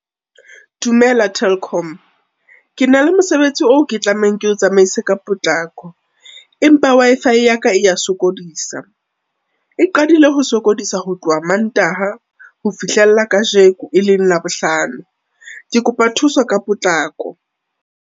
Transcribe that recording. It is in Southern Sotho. Dumela Telkom, ke na le mosebetsi oo ke tlamehang ke o tsamaise ka potlako, empa Wi-Fi ya ka e ya sokodisa, e qadile ho sokodisa ho tloha Mantaha, ho fihlela kajeko e leng Labohlano, ke kopa thuso ka potlako.